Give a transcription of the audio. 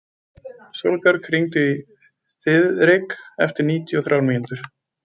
Sólbjörg, hringdu í Þiðrik eftir níutíu og þrjár mínútur.